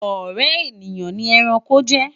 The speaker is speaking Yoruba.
ọrẹ ènìyàn ní ẹranko jẹ